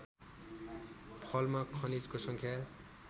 फलमा खनिजको सङ्ख्या